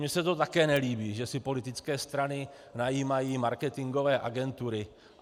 Mně se to také nelíbí, že si politické strany najímají marketingové agentury.